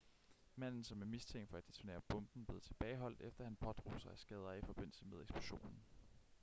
manden som er mistænkt for at detonere bomben blev tilbageholdt efter at han pådrog sig skader i forbindelse med eksplosionen